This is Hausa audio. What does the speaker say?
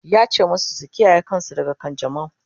yace masu su kiyaye kansu daga kanjamau!